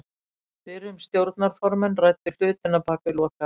Fyrrum stjórnarformenn ræddu hlutina bak við lokaðar dyr.